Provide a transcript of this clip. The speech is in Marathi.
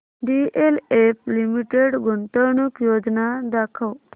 डीएलएफ लिमिटेड गुंतवणूक योजना दाखव